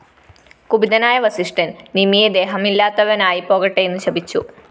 കുപിതനായ വസിഷ്ഠന്‍ നിമിയെ ദേഹമില്ലാത്തവനായിപ്പോകട്ടെയെന്നു ശപിച്ചു